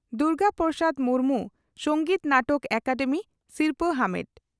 ᱫᱩᱨᱜᱟ ᱯᱨᱚᱥᱟᱫᱽ ᱢᱩᱨᱢᱩ ᱥᱚᱝᱜᱤᱛ ᱱᱟᱴᱚᱠ ᱮᱠᱟᱰᱮᱢᱤ ᱥᱤᱨᱯᱷᱟᱹ ᱟᱢᱮᱴ